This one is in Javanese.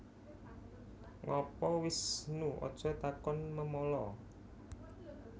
Ngapa Wisnu Aja takon memala